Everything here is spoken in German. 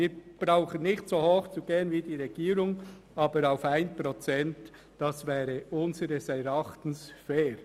Wir brauchen nicht so hoch zu gehen wie die Regierung, aber 1 Prozent wäre unseres Erachtens fair.